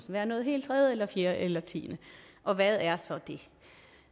være noget helt tredje eller fjerde eller tiende og hvad er så det